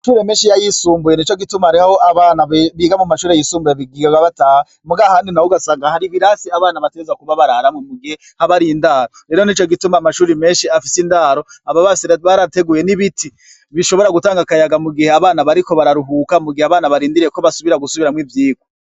Amashure menshi y'ayisumbuye nico gituma hariho aho abana biga mu mashuri yisumbuye biga bataha muga ahandi naho ugasanga hari ibirasi abana bategerezwa kuba bararamwo mu gihe haba hari indaro rero nico gituma amashuri menshi afise indaro baba barateguye n'ibiti bishobora gutanga akayaga mu gihe abana bariko bararuhuka mu gihe abana barindiriye ko basubira gusubiramwo ivyirwa.